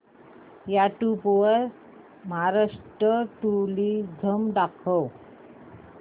YouTube वर Maharashtra tourism दाखव